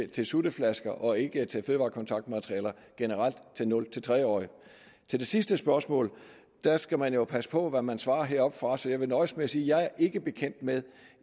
til sutteflasker og ikke til fødevarekontaktmaterialer generelt til nul tre årige til det sidste spørgsmål skal man jo passe på hvad man svarer heroppefra så jeg vil nøjes med at sige at jeg ikke er bekendt med